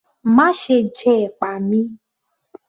Máṣe jẹ ẹ̀pà mi!